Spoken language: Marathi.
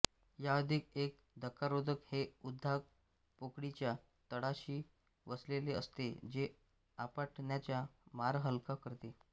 या अधिक एक धक्कारोधक हे उद्वाहक पोकळीच्या तळाशी बसविलेले असते जे आपटण्याचा मार हलका करते